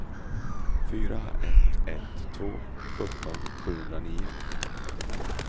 fyra ett ett två sjutton sjuhundranio